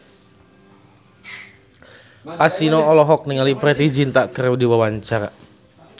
Kasino olohok ningali Preity Zinta keur diwawancara